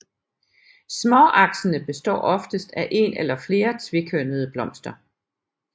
Småaksene består oftest af en eller flere tvekønnede blomster